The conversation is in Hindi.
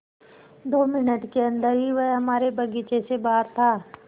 दो मिनट के अन्दर ही वह हमारे बगीचे से बाहर था